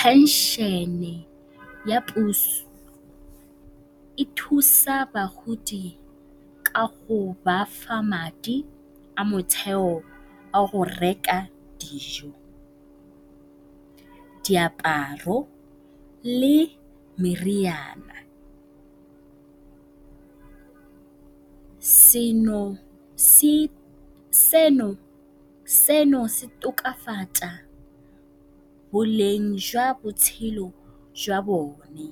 Phenšene ya puso e thusa bagodi ka go ba fa madi a motheo a go reka dijo, diaparo le meriana. Se se tokafatsa boleng jwa botshelo jwa bone,